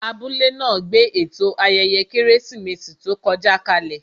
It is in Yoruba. Abúlé náà gbé ètò ayẹyẹ Kérésìmesì tó kọjá kalè